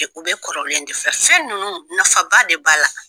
u bɛ kɔrɔlen de fɛ fɛn ninnu nafa ba de b'a la.